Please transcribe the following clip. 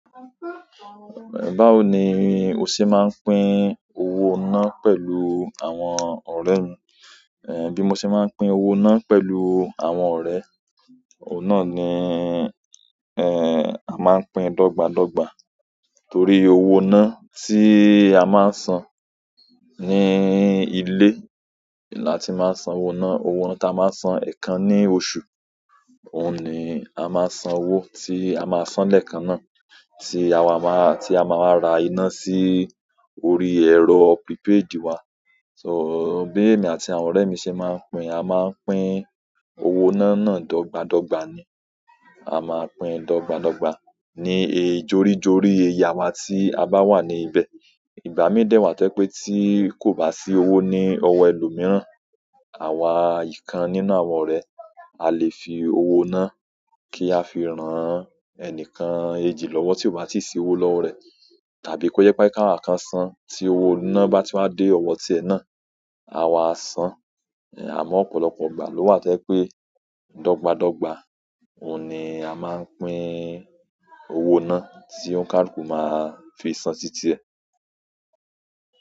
Báwo ni o ṣe máa ń pín owó náà pẹ̀lú àwọn ọ̀rẹ́ ẹ? Èmi bí mo ṣe máa ń pín owó náà pẹ̀lú àwọn ọ̀rẹ́, òun iná ni, ẹ́, a máa ń pín dogbadogba torí owó iná tí a máa ń san ní ilé là tí màá ń san owó iná. Owó iná tí a máa ń san ẹ̀ẹ̀kan ní oṣù, òun ni a máa san owó tí a máa san lẹ́ẹ̀kan náà tí àwa máa, tí a máa wáá ra iná sí orí ẹ̀rọ prípéèdì wa. So bí èmi àti àwọn ọ̀rẹ́ mi ṣe máa ń pín, a máa pín owó iná náà dọ́gba dọ́gba ni. A máa pín dọ́gbadọ́gba ní ì jori-jorí iye àwa tí a bá wà ní ibẹ̀. Ìgbà mí dẹ wà tójẹ́ pé tí kò bá sí owó ní ọwọ́ ẹlòmíràn, àwa ìkan nínú àwọn ọ̀rẹ́, a lè fi owó iná kí a fi rán-án ẹnìkan èjì lọ́wọ́ tí ó bá ti sí owó lọ́rẹ̀ẹ́. Tàbí kó jẹ pé káwà kan san tí owó iná bá ti wá dé ọwọ́ ti ẹ náà, àwa a san. Àmọ́ ọ̀pọ̀lọpọ̀ ìgbà ló wà tó jẹ pé dọ́gba dọ́gba òun ni a máa pín owó iná tí ońkàlù máa fi san sí ti ẹ.